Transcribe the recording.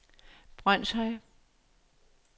Brønshøj